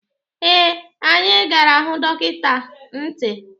Ee, anyị gara hụ dọkịta ntị.